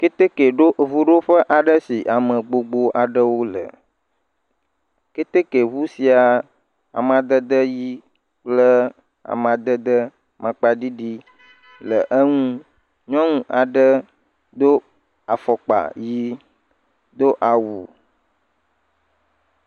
Keteke ʋuɖoƒe si ame gbogbo aɖewo le ketekeʋu sia amadede amaŋkpa ɣi kple amadede amaŋkpa ɖiɖi le enu nyɔnu aɖe do afɔkpa ɣi do awu